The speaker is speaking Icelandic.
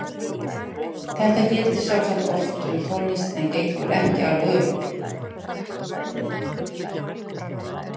Þetta gildir sjálfsagt oft um tónlist en gengur ekki alveg upp.